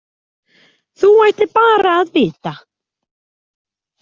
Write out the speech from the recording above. Þú ættir bara að vita.